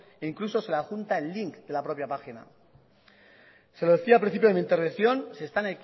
e incluso se le adjunta el link de la propia página se lo decía al principio de mi intervención se están